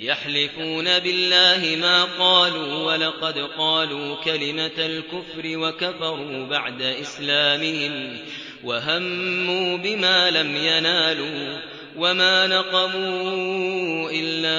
يَحْلِفُونَ بِاللَّهِ مَا قَالُوا وَلَقَدْ قَالُوا كَلِمَةَ الْكُفْرِ وَكَفَرُوا بَعْدَ إِسْلَامِهِمْ وَهَمُّوا بِمَا لَمْ يَنَالُوا ۚ وَمَا نَقَمُوا إِلَّا